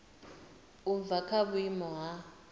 u bva kha vhuimo ha